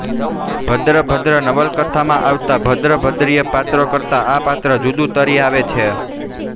ભદ્રંભદ્ર નવલકથામાં આવતા ભદ્રંભદ્રીય પાત્રો કરતા આ પાત્ર જુદુ તરી આવે છે